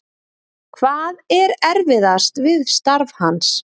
Hvað er erfiðast við starf hans?